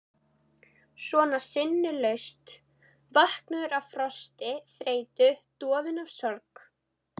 Svona sinnulaus, vankaður af frosti, þreytu, dofinn af sorg.